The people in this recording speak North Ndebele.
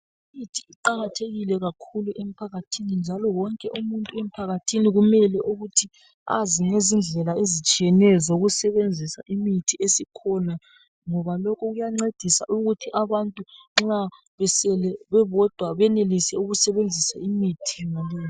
Imithi iqakathekile kakhulu emphakathini njalo wonke umuntu emphakathini kumele ukuthi azi ngezindlela ezitshiyeneyo zokusebenzisa imithi esikhona ngoba lokhu kuyancedisa ukuthi nxa abantu besele bebodwa benelise ukusebenzisa imithi.